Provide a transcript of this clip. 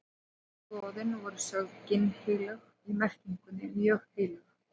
fornu goðin voru sögð ginnheilög í merkingunni mjög heilög